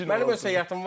Mənim düzülüşüm var.